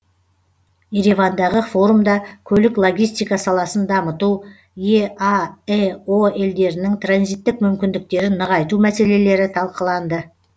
еревандағы форумда көлік логистика саласын дамыту еаэо елдерінің транзиттік мүмкіндіктерін нығайту мәселелері талқыланды